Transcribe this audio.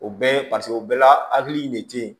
O bɛɛ ye paseke o bɛɛ la hakili in de te yen